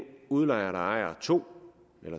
udlejer der ejer to